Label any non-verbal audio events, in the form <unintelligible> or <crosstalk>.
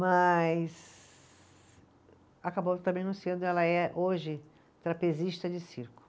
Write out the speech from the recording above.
Mas acabou também, <unintelligible> ela é hoje trapezista de circo.